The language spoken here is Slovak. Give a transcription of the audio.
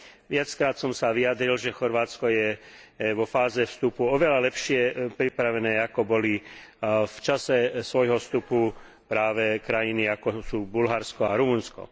Viackrát som sa vyjadril, že Chorvátsko je vo fáze vstupu oveľa lepšie pripravené, ako boli v čase svojho vstupu práve krajiny, ako sú Bulharsko a Rumunsko.